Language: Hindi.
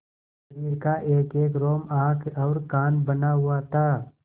शरीर का एकएक रोम आँख और कान बना हुआ था